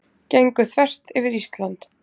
Gengu þvert yfir Ísland